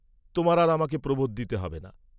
তোমার আর আমাকে প্রবোধ দিতে হবে না।